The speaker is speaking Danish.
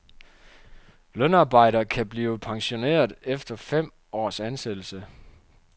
Lønarbejder kan blive pensioneret efter fem års ansættelse.